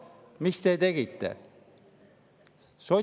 Mis te tegite?